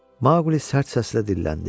Maqli sərt səslə dilləndi.